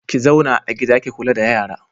Ki zauna a gida ki kula da yara.